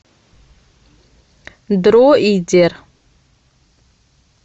дроидер